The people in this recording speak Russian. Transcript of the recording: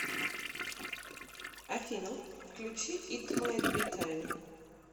афина включи ит майт би тайм